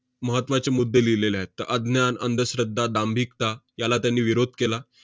महत्त्वाचे मुद्दे लिहिलेले आहेत. त~ अज्ञान, अंधश्रद्धा, दांभिकता याला त्यांनी विरोध केला.